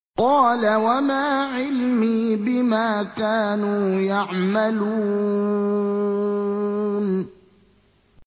قَالَ وَمَا عِلْمِي بِمَا كَانُوا يَعْمَلُونَ